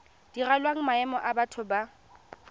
direlwang maemo a batho ba